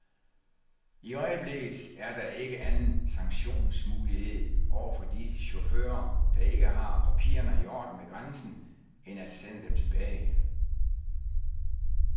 I øjeblikket er der ikke anden sanktionsmulighed over for de chauffører, der ikke har papirerne i orden ved grænsen, end at sende dem tilbage.